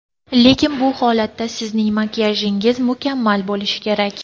Lekin bu holatda sizning makiyajingiz mukammal bo‘lishi kerak!